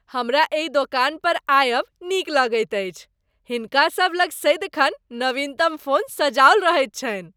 हमरा एहि दोकान पर आयब नीक लगैत अछि। हिनका सबलग सदिखन नवीनतम फोन सजाओल रहैत छनि।